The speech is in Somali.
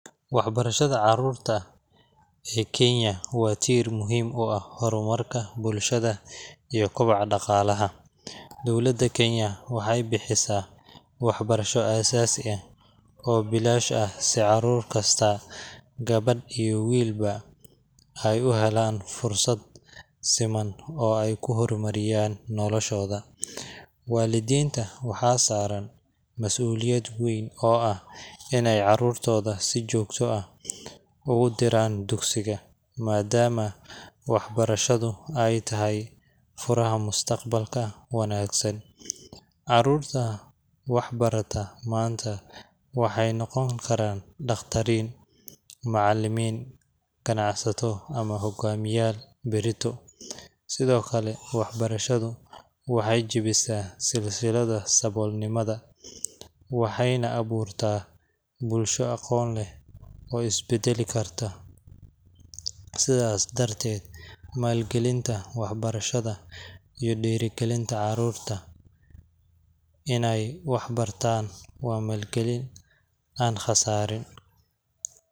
Wax barashada carurta ee kenya wa tiir muhim uu aah hormarka bulshada iyo kobacaa dhaqalaha dowlada kenya wexey bixisa waxbarasha asasii aah oo bilash aah si carur kasta gabadh iyo wiilba ey uu helan fursad siman oo eyku hormariyan noloshoda walidinta waxa saraan masuliyad weyn oo aah iney carurtoda si jogta ah ogu diran duksiga madamaa waxbarashada ey tahay furaha mustaqbalka wanagsan carurta wax barata manta waxey noqon karan dhaqtarin, macalimin, ganacsato ama hogamiyal barito sido kale waxbarashadu waxey jabisa silsilada sabolnimada waxeyna aburta bulsha aqon leh oo isbadeli karta sidas dartet malgelinta waxbarashada iyo dhirigelinta carurta iney wax bartan wa malgalin aan qasariin.